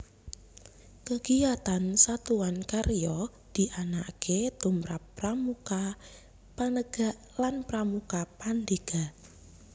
Kegiatan Satuan Karya dianakake tumrap Pramuka Penegak lan Pramuka Pandega